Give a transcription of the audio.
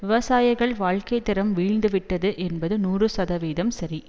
விவசாயிகள் வாழ்க்கைதரம் வீழ்ந்துவிட்டது என்பது நூறு சதவீதம் சரி